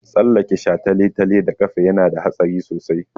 Tsallake shataletale da ƙafa yana da haɗari sosai.